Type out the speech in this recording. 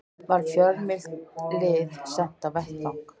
Var fjölmennt lið sent á vettvang